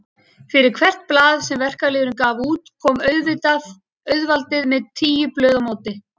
Fyrir hvert blað sem verkalýðurinn gaf út kom auðvaldið með tíu blöð á móti.